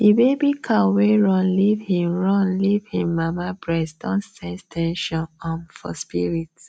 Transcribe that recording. the baby cow wey run leave hin run leave hin mama breast don sense ten sion um for spirit